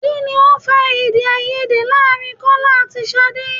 Kini ó fa Èdèáiyedé láàrin Kọ́lá àti Ṣadé?